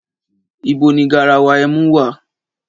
Ìbó ní gàràwá ẹmú wà?